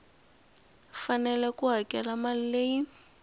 fanele ku hakela mali leyi